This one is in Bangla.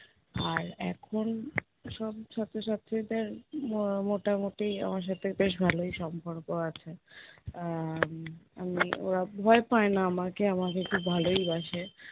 আর এখন সব ছাত্র ছাত্রীদের ম~ মোটামোটি আমার সাথে বেশ ভালোই সম্পর্ক আছে। আহ আমি, ওরা ভয় পায় না আমাকে আমাকে খুব ভালোই বাসে।